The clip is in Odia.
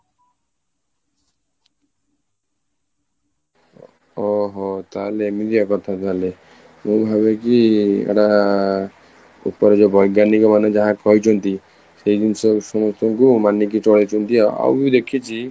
ଓହୋ ତାହେଲେ ଏମିତିଆ କଥା ତାହେଲେ ମୁଁ ଭାବେ କି ଏଟା ଉପରେ ଯୋଉ ବୈଜ୍ଞାନିକମାନେ ଯାହା କହିଛନ୍ତି ସେଇ ଜିନିଷ ସମସ୍ତଙ୍କୁ ମାନିକି ଚଳାଇଛନ୍ତି ଆଉ ବି ଦେଖିଛି